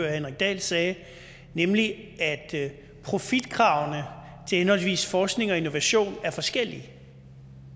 henrik dahl sagde nemlig at profitkravene til henholdsvis forskning og innovation er forskellige